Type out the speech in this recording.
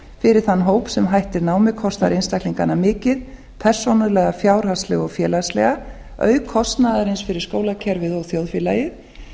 fyrir þann hóp sem hættir námi kostar einstaklingana mikið persónulega fjárhagslega og félagslega auk kostnaðarins fyrir skólakerfið og þjóðfélagið